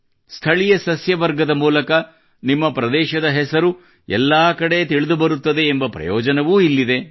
ಸ್ಥಳೀಯ ಸಸ್ಯವರ್ಗದ ಮೂಲಕ ನಿಮ್ಮ ಪ್ರದೇಶದ ಹೆಸರು ಕೂಡಾ ಎಲ್ಲೆಡೆ ತಿಳಿದುಬರುತ್ತದೆ ಎಂಬ ಪ್ರಯೋಜನವೂ ಇದರಲ್ಲಿದೆ